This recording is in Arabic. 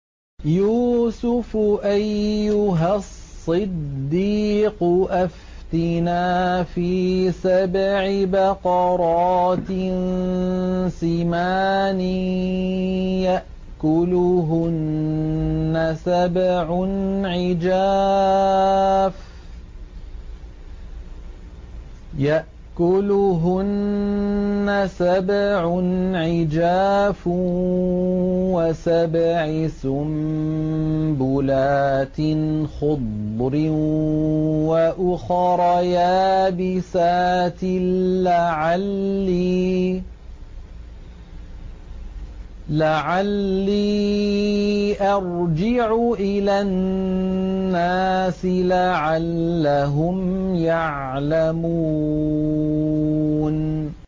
يُوسُفُ أَيُّهَا الصِّدِّيقُ أَفْتِنَا فِي سَبْعِ بَقَرَاتٍ سِمَانٍ يَأْكُلُهُنَّ سَبْعٌ عِجَافٌ وَسَبْعِ سُنبُلَاتٍ خُضْرٍ وَأُخَرَ يَابِسَاتٍ لَّعَلِّي أَرْجِعُ إِلَى النَّاسِ لَعَلَّهُمْ يَعْلَمُونَ